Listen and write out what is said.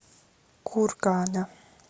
кургана